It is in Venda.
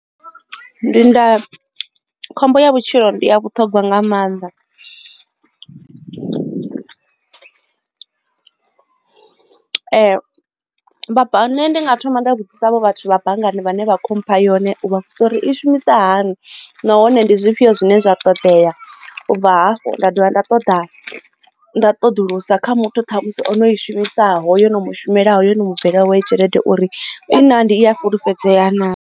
Ndi nda khombo ya vhutshilo ndi ya vhuṱhogwa nga maanḓa nṋe ndi nga thoma nda vhudzisa havho vhathu vha banngani vhane vha kho mpha yone u vha vhudzisa uri i shumisa hani nahone ndi zwifhio zwine zwa ṱoḓea u dovha hafhu nda dovha nda ṱoḓa nda ṱoḓulusisa kha muthu ṱhamusi ono i shumisaho yo no mushumela ho yo no mubvela yawe tshelede uri i na ndi i a fhulufhedzea naa.